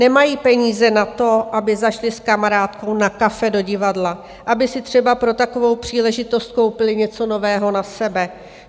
Nemají peníze na to, aby zašli s kamarádkou na kafe, do divadla, aby si třeba pro takovou příležitost koupili něco nového na sebe.